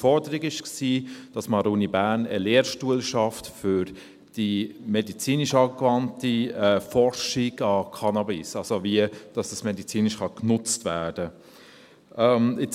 Die Forderung war, dass man an der Uni Bern einen Lehrstuhl schafft für die medizinisch angewandte Forschung an Cannabis, das heisst, wie dies medizinisch genutzt werden kann.